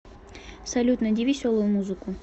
салют найди веселую музыку